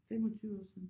25 år siden